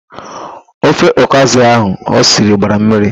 Ofe ọkazị ahụ osiri gbara mmiri.